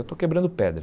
Eu estou quebrando pedra.